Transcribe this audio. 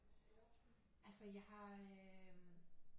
Altså jeg har øh